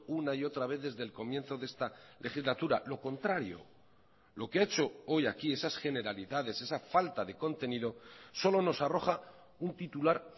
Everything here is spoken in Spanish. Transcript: una y otra vez desde el comienzo de esta legislatura lo contrario lo que ha hecho hoy aquí esas generalidades esa falta de contenido solo nos arroja un titular